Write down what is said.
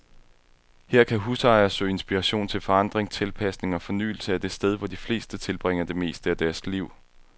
Her kan husejere søge inspiration til forandring, tilpasning og fornyelse af det sted, hvor de fleste tilbringer det meste af deres liv.